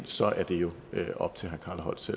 så er det jo op til herre carl holst